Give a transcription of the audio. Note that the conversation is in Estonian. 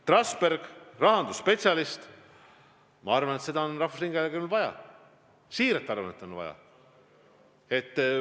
Trasberg on rahandusspetsialist ja ma arvan, et seda on rahvusringhäälingul vaja – siiralt arvan, et on vaja.